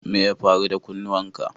Me ya faru da kunnuwan ka?